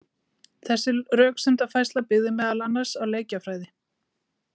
Þessi röksemdafærsla byggði meðal annars á leikjafræði.